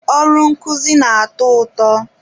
Ọrụ nkuzi na-atọ ụtọ.